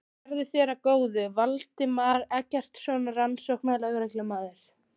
Verði þér að góðu, Valdimar Eggertsson rannsóknarlögreglumaður.